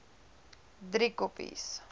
driekopies